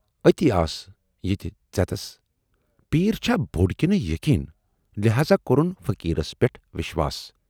ٲتی آس یہِ تہِ ژٮ۪تَس پیٖر چھا بوڈ کِنہٕ یقیٖن لٮ۪ہذا کورُن فقیٖرس پٮ۪ٹھ وٮ۪شواس